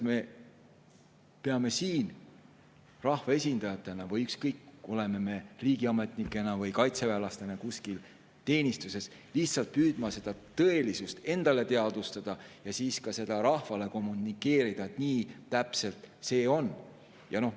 Me peame siin rahvaesindajatena või ükskõik kellena, kui me oleme näiteks ka riigiametnike või kaitseväelastena kuskil teenistuses, püüdma endale lihtsalt tõelisust teadvustada ja siis ka seda rahvale kommunikeerida, et täpselt nii see on.